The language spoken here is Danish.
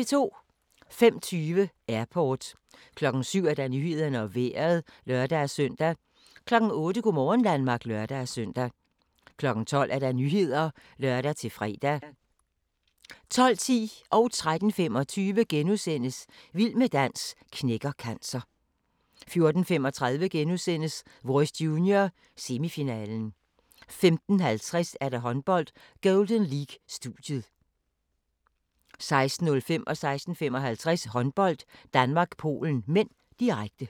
05:20: Airport 07:00: Nyhederne og Vejret (lør-søn) 08:00: Go' morgen Danmark (lør-søn) 12:00: Nyhederne (lør-fre) 12:10: Vild med dans knækker cancer * 13:25: Vild med dans knækker cancer * 14:35: Voice Junior - semifinalen * 15:50: Håndbold: Golden League - studiet 16:05: Håndbold: Danmark-Polen (m), direkte 16:55: Håndbold: Danmark-Polen (m), direkte